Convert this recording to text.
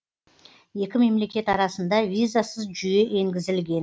екі мемлекет арасында визасыз жүйе енгізілген